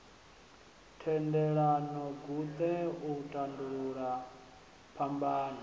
thendelano guṱe u tandulula phambano